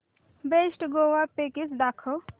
best Goa package दाखव